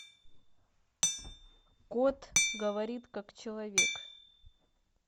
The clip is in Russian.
кот говорит как человек